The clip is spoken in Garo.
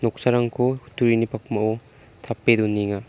noksarangko kutturini pakmao tape donenga.